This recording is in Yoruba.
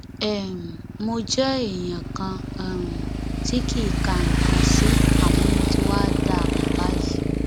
um mo jẹ èèyàn kan um tí kì í ka nǹkan sí àmọ mo ti wáá dá a mọ báyìí